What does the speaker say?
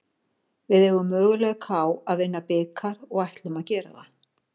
Við eigum möguleika á að vinna bikar og ætlum að gera það.